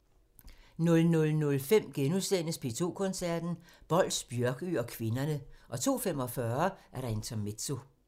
00:05: P2 Koncerten – Bols, Bjørkøe og kvinderne * 02:45: Intermezzo